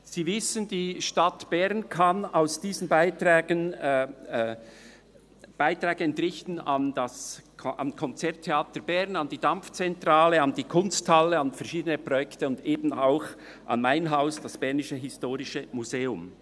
Sie wissen, die Stadt Bern kann daraus Beiträge an Konzert Theater Bern (KTB), an die Dampfzentrale, an die Kunsthalle, an verschiedene Projekte und eben auch an mein Haus, das BHM Museum entrichten.